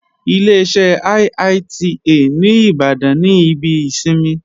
Ileṣẹ́ IITA ní Ìbàdàn ní ibi ìsinmi